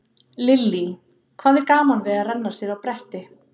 Lillý: Hvað er gaman við að renna sér á bretti?